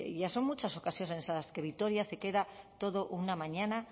ya son muchas ocasiones en las que vitoria se queda toda una mañana